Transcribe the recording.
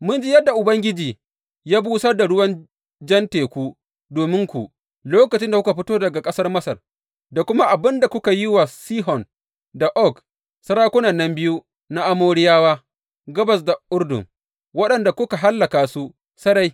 Mun ji yadda Ubangiji ya busar da ruwan Jan Teku domin ku lokacin da kuka fito daga ƙasar Masar, da kuma abin da kuka yi wa Sihon da Og, sarakunan nan biyu na Amoriyawa gabas da Urdun, waɗanda kuka hallaka su sarai.